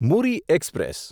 Muri express